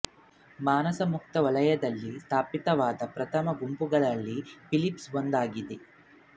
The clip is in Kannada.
ಮಾನಾಸ್ ಮುಕ್ತ ವಲಯದಲ್ಲಿ ಸ್ಥಾಪಿತವಾದ ಪ್ರಥಮ ಗುಂಪುಗಳಲ್ಲಿ ಫಿಲಿಪ್ಸ್ ಒಂದಾಗಿದೆ